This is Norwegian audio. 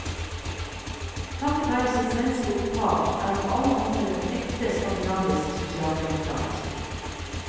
Takket være sitt svenske opphav er han på alle måter en ekte skandinavisk sosialdemokrat.